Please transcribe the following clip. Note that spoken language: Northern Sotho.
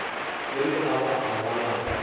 ge le aba aba la